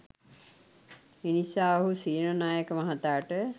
එනිසා ඔහු සේනානායක මහතාට